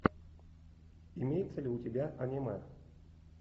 имеется ли у тебя аниме